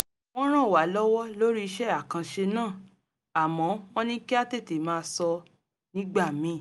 wọ́n ràn wá lọ́wọ́ lórí iṣẹ́ àkanṣe náà àmọ́ wọ́n ní kí a tètè máa sọ nígbà míì